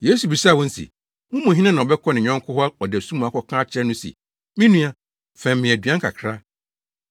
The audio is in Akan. Yesu bisaa wɔn se, “Mo mu hena na ɔbɛkɔ ne yɔnko hɔ ɔdasu mu akɔka akyerɛ no se, ‘Me nua, fɛm me aduan kakra,